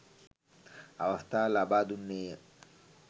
අවස්ථාව ලබා දුන්නේ ය.